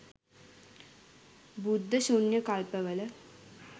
බුද්ධ ශුන්‍ය කල්පවල